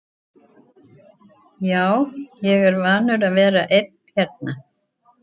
Já, ég er vanur að vera einn hérna.